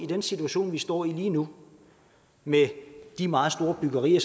den situation vi står i lige nu med de meget store byggerier